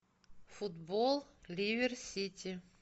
футбол ливер сити